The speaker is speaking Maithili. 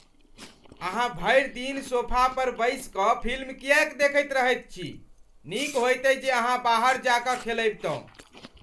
अहाँ भरि दिन सोफा पर बैसि कऽ फिल्म किएक देखैत रहैत छी? नीक होइतै जे अहाँ बाहर जा कऽ खेलबितहुँ !